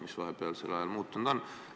Mis vahepealsel ajal muutunud on?